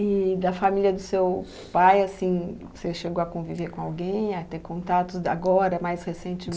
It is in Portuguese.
E da família do seu pai, assim, você chegou a conviver com alguém, a ter contatos agora, mais